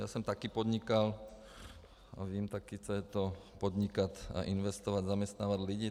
Já jsem také podnikal a vím také, co je to podnikat a investovat, zaměstnávat lidi.